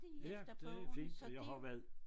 Ja det fint og jeg har jo været